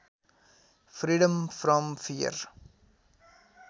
freedom from fear